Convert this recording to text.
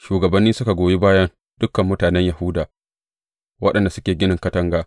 Shugabanni suka goyi bayan dukan mutanen Yahuda waɗanda suke ginin katanga.